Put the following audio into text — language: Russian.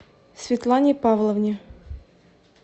светлане павловне